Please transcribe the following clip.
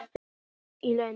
Búsett í London.